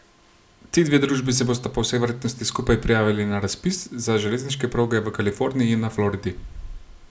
Ti dve družbi se bosta po vsej verjetnosti skupaj prijavili na razpis za železniške proge v Kaliforniji in na Floridi.